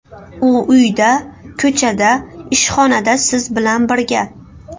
U uyda, ko‘chada, ishxonada siz bilan birga.